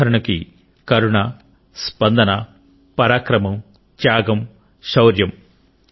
ఉదాహరణకు కరుణ స్పందన పరాక్రమం త్యాగం శౌర్యం